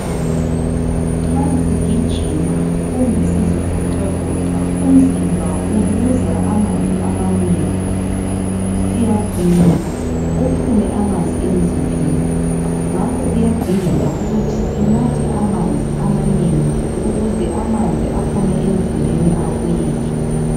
Nxa sigijima kumbe sizivoxavoxa umzimba uluza amanzi amanengi. Siyaginqa kuphume amanzi emzimbeni. Ngakho kuyadingeka ukuthi sinathe amanzi amanengi ukuze amanzi aphume emzimbeni abuyele.